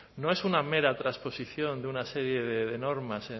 no es una mera transposición de una serie de normas